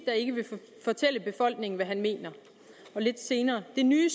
der ikke vil fortælle befolkningen hvad han mener … og lidt senere det nye